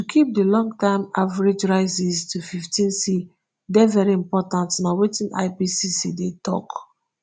to keep di longterm average rises to fifteenc dey very important na wetin ipcc dey tok.